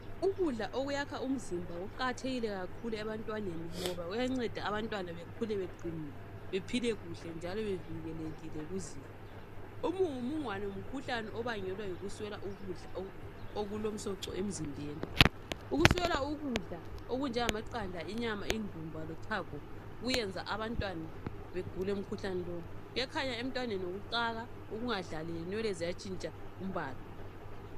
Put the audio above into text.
Ukudla okuyakha umzimba kuqakathekile kakhulu ebantwaneni ngoba kuyanceda abantwana bekhule beqinile, bephile kuhle njalo bevikelekile kuzifo. Umungumungwane ngumkhuhlane obangelwa yikuswela ukudla okulomsoco emzimbeni. Ukuswela ukudla okunjengamaqanda, inyama, indumba lochago kuyenza abantwana begule umkhuhlane lo. Kuyakhanya emntwaneni ngokucaka, ukungadlali lenwele ziyatshintsha umbala